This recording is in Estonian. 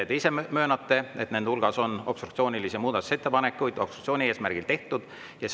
Te ise möönate, et nende hulgas on obstruktsioonilisi muudatusettepanekuid, obstruktsiooni eesmärgil tehtud.